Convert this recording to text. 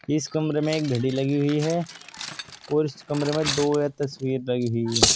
इस कमरे में एक घड़ी लगी हुई है और इस कमरे में दो या तस्वीर लगी हुई है।